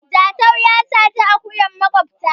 Jatau ya saci akuyar makota